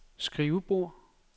skrivebord